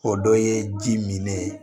O dɔ ye ji min ne ye